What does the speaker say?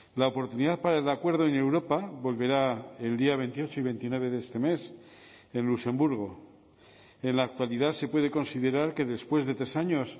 la oportunidad para el acuerdo en europa volverá el día veintiocho y veintinueve de este mes en luxemburgo en la actualidad se puede considerar que después de tres años